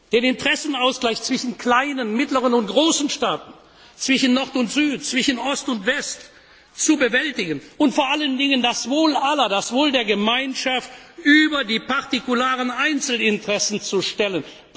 Den Interessenausgleich zwischen kleinen, mittleren und großen Staaten, zwischen Nord und Süd, zwischen Ost und West zu bewältigen und vor allen Dingen das Wohl aller, das Wohl der Gemeinschaft über die partikularen Interessen Einzelner zu stellen.